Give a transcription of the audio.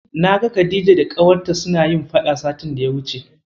Na ga Khadija da ƙawarta suna faɗa satin daya wuce.